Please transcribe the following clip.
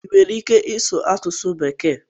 ị nwere ike ịsụ asụsụ Bekee?